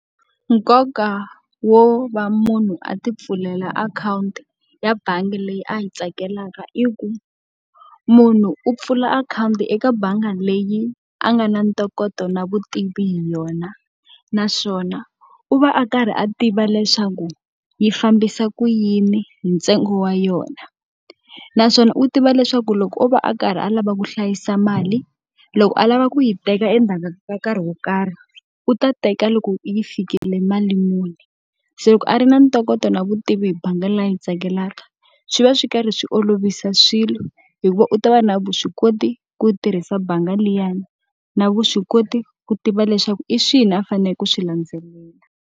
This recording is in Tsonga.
Nkoka wo va munhu a tipfulela akhawunti ya bangi leyi a yi tsakelaka i ku, munhu u pfula akhawunti eka bangi leyi a nga na ntokoto na vutivi hi yona. Naswona u va a karhi a tiva leswaku yi fambisa ku yini hi ntsengo wa yona. Naswona u tiva leswaku loko o va a karhi a lava ku hlayisa mali, loko a lava ku yi teka endzhaku ka nkarhi wo karhi u ta teka loko yi fikile mali muni. Se loko a ri na ntokoto na vutivi hi bangi leyi yi tsakelaka, swi va swi karhi swi olovisa swilo hi ku u ta va na vuswikoti ku tirhisa bangi liyani, na vuswikoti ku tiva leswaku i swihi a faneleke ku swi landzelela.